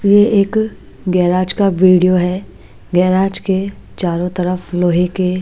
ये एक गैराज का वीडियो है गैराज के चारों तरफ लोहे के --